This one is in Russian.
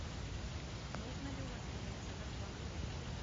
можно ли у вас организовать банкет